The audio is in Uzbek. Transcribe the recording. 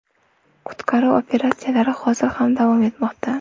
Qutqaruv operatsiyasi hozir ham davom etmoqda.